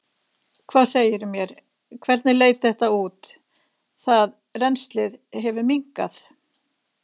Hvað segirðu mér, hvernig leit þetta út, það, rennslið hefur minnkað?